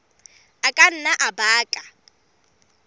a ka nna a baka